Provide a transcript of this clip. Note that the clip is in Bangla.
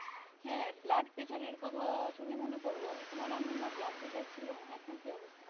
হ্যাঁ blood pressure এর কথা আসলে মনে পড়ল, তোমার আম্মুর না blood pressure ছিল এখন কেমন আছে?